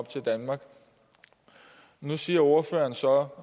til danmark nu siger ordføreren så